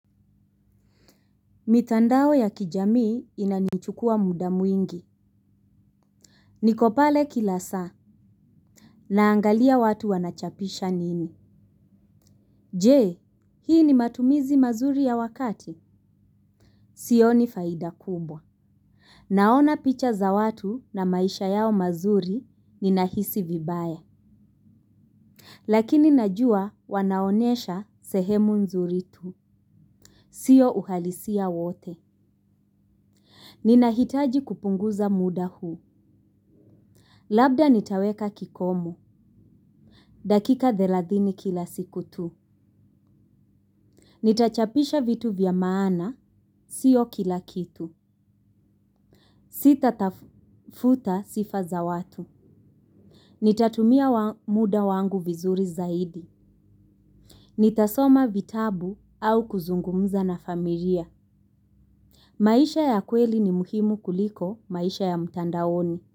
Mitandao ya kijamii inanichukua muda mwingi. Niko pale kila saa. Naangalia watu wanachapisha nini. Je, hii ni matumizi mazuri ya wakati. Sioni faida kubwa. Naona picha za watu na maisha yao mazuri ninahisi vibaya. Lakini najua wanaonesha sehemu nzuri tu. Siyo uhalisia wote. Ninahitaji kupunguza muda huu. Labda nitaweka kikomo. Dakika thelathini kila siku tu. Nitachapisha vitu vya maana, sio kila kitu. Sitatafuta sifa za watu. Nitatumia muda wangu vizuri zaidi. Nitasoma vitabu au kuzungumza na familia. Maisha ya kweli ni muhimu kuliko maisha ya mtandaoni.